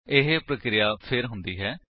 ਇਹ ਪਰਿਕ੍ਰੀਆ ਫੇਰ ਹੁੰਦੀ ਹੈ